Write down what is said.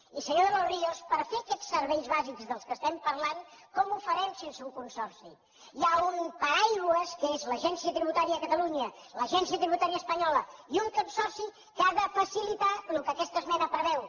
i senyor de los ríos per fer aquests serveis bàsics de què estem parlant com ho farem sense un consorci hi ha un paraigua que és l’agència tributària de catalunya l’agència tributària espanyola i un consorci que ha de facilitar el que aquesta esmena preveu